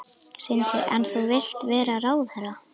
Sindri: En þú vilt vera ráðherra?